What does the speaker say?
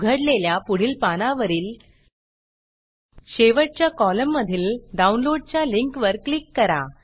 उघडलेल्या पुढील पानावरील शेवटच्या कॉलममधील डाऊनलोडच्या लिंकवर क्लिक करा